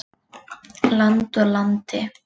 Land úr landi.